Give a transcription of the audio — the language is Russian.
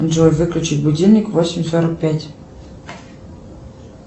джой выключить будильник в восемь сорок пять